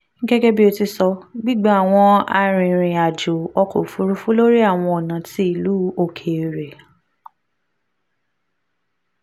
gẹgẹbi o ti sọ gbigba awọn arinrin ajo ọkọ ofurufu lori awọn ọna ti ilu okeere